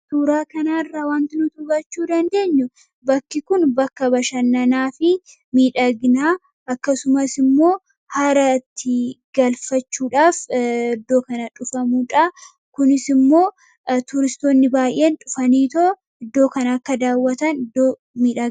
Suuraa kana irraa waanti nuti hubachuu dandeenyu, bakki Kun bakka bashannanaa fi miidhaginaa akkasumas immoo haara itti galfachuudhaaf iddoo kana dhufamudha. Kunis immoo turistoonni baayyeen dhufanii iddoo kana akka daawwatan iddoo miidhagaadha.